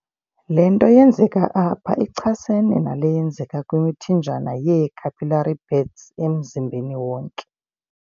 Le nto yenzeka apha ichasene nale yenzeka kwimithanjana yee-capillary beds emzimbeni wonke.